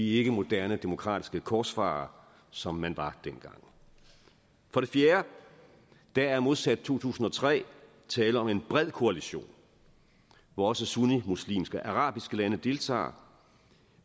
ikke moderne demokratiske korsfarere som man var dengang for det fjerde der er modsat to tusind og tre tale om en bred koalition hvor også sunnimuslimske arabiske lande deltager